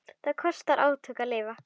Það kostar átök að lifa.